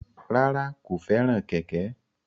Rárá, kò fẹ́ràn kẹ̀kẹ́